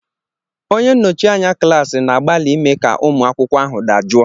Onye nnọchi anya klaasị na-agbalị ime ka ụmụ akwụkwọ ahụ dajụọ.